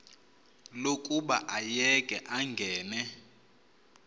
lokuba ayeke angene